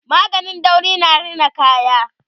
maganin dauri na Rina kaya